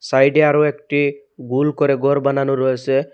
সাইডে আরও একটি গুল করে ঘর বানানো রয়েসে।